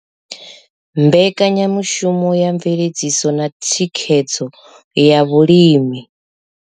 Mbekanyamushumo ya mveledziso na thikhedzo ya vhulimi.